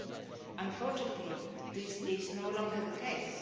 13. Unfortunately, this is no longer the case.